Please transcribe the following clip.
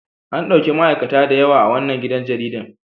An ɗauki ma'aikata da yawa a wannan gidan jaridar.